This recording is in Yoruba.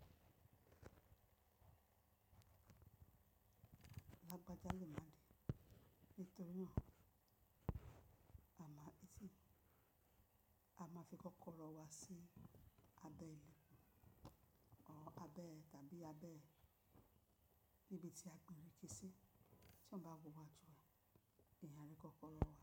Lágbájá lè máa rí nítorí ọ̀nà àmà ìtì a máa fi kọ́kọ́rọ́ wa sí abẹ́ ìlú, ọ abẹ́ tàbí abẹ́ níbi tí a gbìn ireké sí tí wọ́n bá wọ wá jù ẹ, eyan a rí kọ́kọ́rọ́ wa.